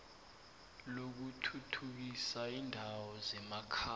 lokuthuthukisa iindawo zemakhaya